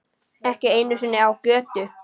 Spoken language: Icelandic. Ekki einu sinni á götu.